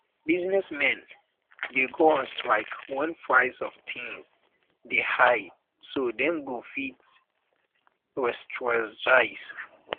business men de um go on strike when price of things de um high so dem go fit um restrategize